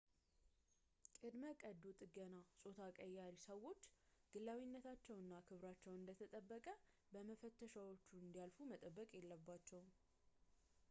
ቅድመ-ቀዶ ጥገና ጾታ ቀያሪ ሰዎች ግላዊነታቸው እና ክብራቸው እንደተጠበቀ በመፈተሻዎቹ እንዲያልፉ መጠበቅ የለባቸውም